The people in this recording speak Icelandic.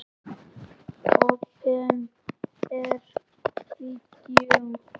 Opinber Vídeó